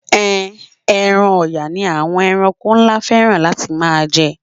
Ehn, ẹran Ọ̀yà ni àwọn ẹranko ńlá fẹ́ràn láti máa jẹ.